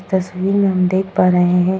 तस्वीर में हम देख पा रहे हैं --